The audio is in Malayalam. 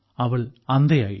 അവൾ അന്ധയായി